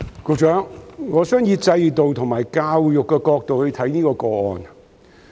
局長，我想以制度和教育的角度來看這宗個案。